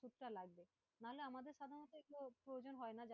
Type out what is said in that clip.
লাগবে, নাহলে আমাদের সাধারণত এগুলোর প্রয়োজন হয় না।